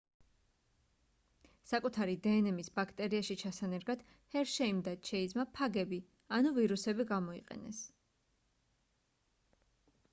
საკუთარი დნმ-ის ბაქტერიაში ჩასანერგად ჰერშეიმ და ჩეიზმა ფაგები ანუ ვირუსები გამოიყენეს